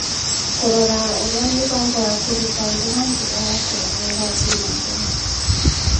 Kũrora ũrĩa mĩbango ya kũruta andũ na njĩra ya kũraya ĩrathiĩ na mbere